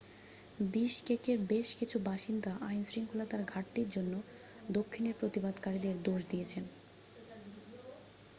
বিশকেকের বেশ কিছু বাসিন্দা আইনশৃঙ্খলার ঘাটতির জন্য দক্ষিনের প্রতিবাদকারীদের দোষ দিয়েছেন